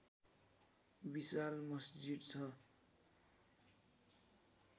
विशाल मस्जिद छ